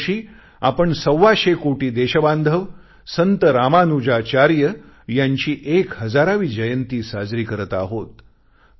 यावर्षी आपण सव्वाशे कोटी देशबांधव संत रामानुजाचार्य यांची एक हजारावी जयंती साजरी करत आहोत